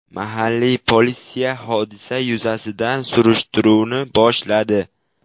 Mahalliy politsiya hodisa yuzasidan surishtiruvni boshladi.